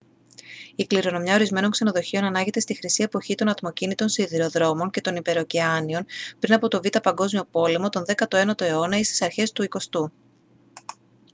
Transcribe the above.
η κληρονομιά ορισμένων ξενοδοχείων ανάγεται στη χρυσή εποχή των ατμοκίνητων σιδηροδρόμων και των υπερωκεάνιων πριν από τον β΄ παγκόσμιο πόλεμο τον 19ο αιώνα ή στις αρχές του 20ού